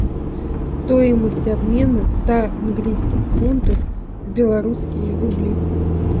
стоимость обмена ста английских фунтов в белорусские рубли